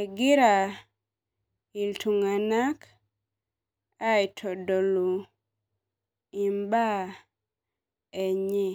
egira ltunganak aitodolu mbaa enye